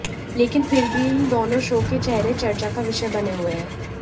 लेकिन फिर भी इन दोनों शो के चेहरे चर्चा का विषय बने हुए हैं